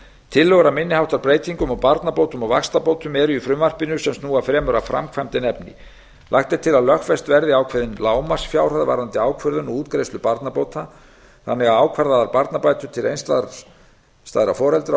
tillögur að minni háttar breytingum á barnabótum og vaxtabótum eru í frumvarpinu sem snúa fremur að framkvæmd en efni lagt er til að lögfest verði ákveðin lágmarksfjárhæð varðandi ákvörðun og útgreiðslu barnabóta þannig að ákvarðaðar barnabætur til einstæðra foreldra og